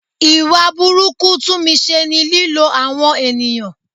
Ìwà burúkú Tunmise ni lílo àwọn ènìyàn.